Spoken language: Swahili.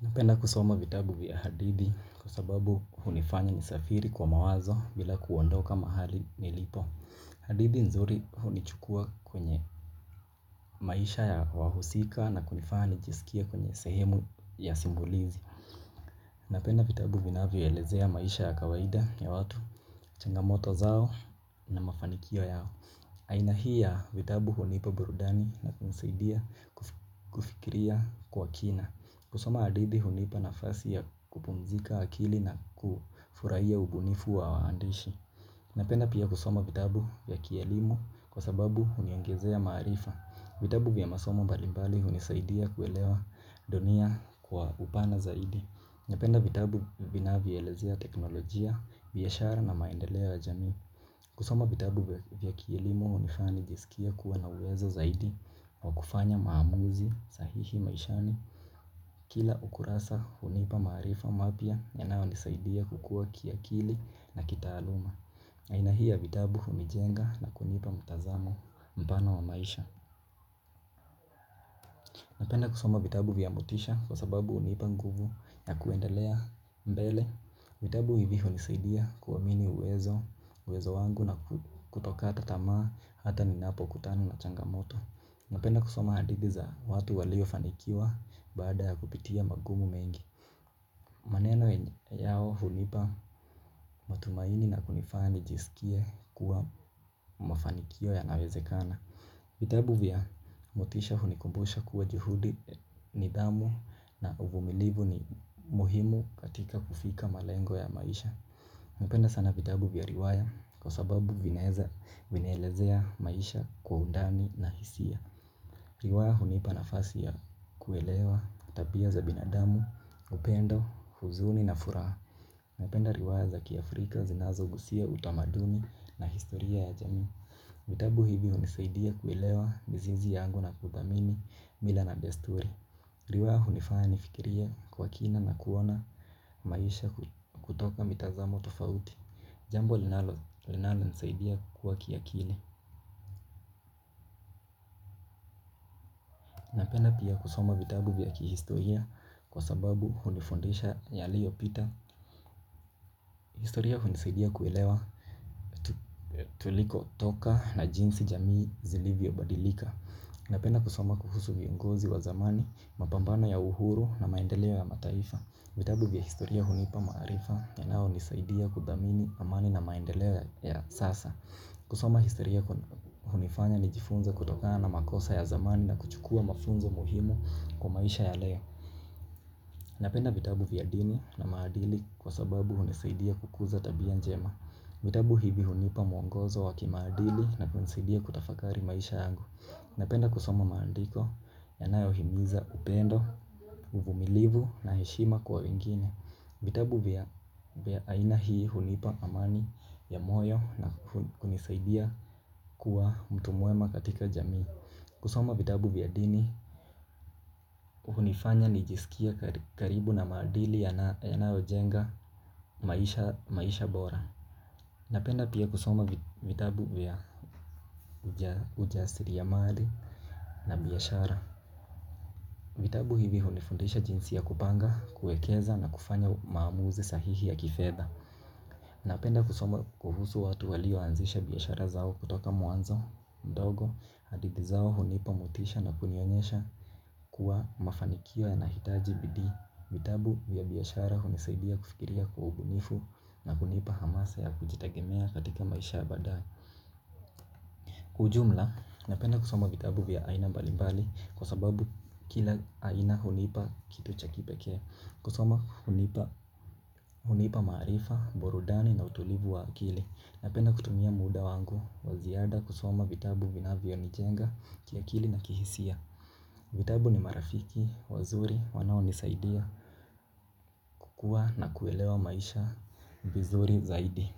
Napenda kusoma vitabu vya hadithi kwasababu hunifanya nisafiri kwa mawazo bila kuondoka mahali nilipo. Hadithi nzuri hunichukua kwenye maisha ya wahusika na kunifanya nijisikie kwenye sehemu ya simulizi. Napenda vitabu vinavyoelezea maisha ya kawaida ya watu, changamoto zao na mafanikio yao. Aina hii ya vitabu hunipa burudani na kunisaidia kufikiria kwa kina. Kusoma hadithi hunipa nafasi ya kupumzika akili na kufurahia ubunifu wa waandishi. Napenda pia kusoma vitabu vya kielimu kwasababu huniongezea maarifa. Vitabu vya masomo mbalimbali hunisaidia kuelewa dunia kwa upana zaidi. Napenda vitabu vinavyoelezea teknolojia, biashara na maendeleo ya jamii. Kusoma vitabu vya kielimu hunifanya nijisikie kuwa na uwezo zaidi wa kufanya maamuzi sahihi maishani. Kila ukurasa hunipa maarifa mapya yanayonisaidia kukua kiakili na kitaaluma. Aina hii ya vitabu hunijenga na kunipa mtazamo mpana wa maisha. Napenda kusoma vitabu vya motisha kwasababu hunipa nguvu ya kuendelea mbele. Vitabu hivi hunisaidia kuamini uwezo wangu na kutokata tamaa hata ninapokutana na changamoto. Napenda kusoma hadithi za watu waliofanikiwa baada ya kupitia magumu mengi. Maneno yao hunipa matumaini na kunifanya nijisikie kuwa mafanikio yanawezekana. Vitabu vya motisha hunikumbusha kuwa juhudi, nidhamu na uvumilivu ni muhimu katika kufika malengo ya maisha. Napenda sana vitabu vya riwaya kwasababu vinaelezea maisha kwa undani na hisia. Riwaya hunipa nafasi ya kuelewa tabia za binadamu, upendo, huzuni na furaha. Napenda riwaya za kiafrika zinazogusia utamaduni na historia ya jamii. Vitabu hivi hunisaidia kuelewa mizizi yangu na kuthamini mila na desturi. Riwaya hunifanya nifikirie kwa kina na kuona maisha kutoka mitazamo tofauti. Jambo linalonisaidia kukua kiakili. Napenda pia kusoma vitabu vya kihistoria kwasababu hunifundisha yaliyopita. Historia hunisaidia kuelewa tulikotoka na jinsi jamii zilivyobadilika. Napenda kusoma kuhusu viongozi wa zamani, mapambano ya uhuru na maendeleo ya mataifa. Vitabu vya historia hunipa maarifa yanayonisaidia kuthamini amani na maendeleo ya sasa. Kusoma historia hunifanya nijifunze kutokana na makosa ya zamani na kuchukua mafunzo muhimu kwa maisha ya leo. Napenda vitabu vya dini na maadili kwasababu hunisaidia kukuza tabia njema. Vitabu hivi hunipa muongozo wa kimaadili na kunisidia kutafakari maisha yangu. Napenda kusoma maandiko yanayohimiza upendo, uvumilivu na heshima kwa wengine. Vitabu vya aina hii hunipa amani ya moyo na kunisaidia kuwa mtu mwema katika jamii. Kusoma vitabu vya dini hunifanya nijisikie karibu na maadili yanayojenga maisha bora. Napenda pia kusoma vitabu ya ujasiriamali na biashara. Vitabu hivi hunifundisha jinsi ya kupanga, kuwekeza na kufanya maamuzi sahihi ya kifedha. Napenda kusoma kuhusu watu walioanzisha biashara zao kutoka mwanzo mdogo. Hadithi zao hunipa motisha na kunionyesha kuwa mafanikio yanahitaji bidii. Vitabu vya biashara hunisaidia kufikiria kwa ubunifu na kunipa hamasa ya kujitegemea katika maisha ya baadae. Ujumla, napenda kusoma vitabu vya aina mbalimbali kwasababu kila aina hunipa kitu cha kipekee. Kusoma hunipa maarifa, burudani na utulivu wa akili. Napenda kutumia muda wangu wa ziada kusoma vitabu vinavyonijenga kiakili na kihisia. Vitabu ni marafiki wazuri wanaonisaidia kukua na kuelewa maisha vizuri zaidi.